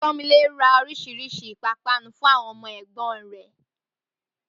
Pọ́nmilé ra oríṣiríṣi ìpápánu fún àwọn ọmọ ẹ̀gbọ́n rẹ̀